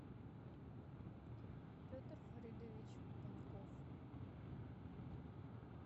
петр фаридович паньков